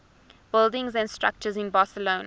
buildings and structures in barcelona